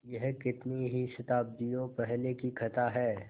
यह कितनी ही शताब्दियों पहले की कथा है